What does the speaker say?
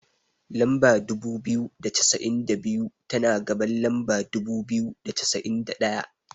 Lamba dubu biyu da cassa'in da biyu, tana gaban lamba dubu biyu da cassa'in da ɗaya.